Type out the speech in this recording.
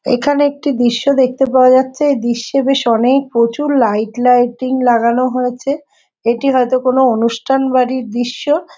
এখানে একটি দৃশ্য দেখতে পাওয়া যাচ্ছে দৃশ্যে বেশ অনেক প্রচুর লাইট লাইটিং লাগানো হয়েছে । এটি হয়তো কোনো অনুষ্ঠান বাড়ির দৃশ্য ।